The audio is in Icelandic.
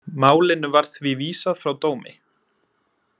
Málinu var því vísað frá dómi